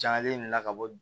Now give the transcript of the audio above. Jagalen in nana ka bɔ